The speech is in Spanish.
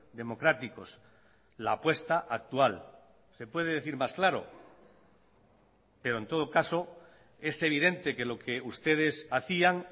democráticos la apuesta actual se puede decir más claro pero en todo caso es evidente que lo que ustedes hacían